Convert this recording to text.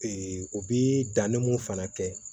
u bi danni mun fana kɛ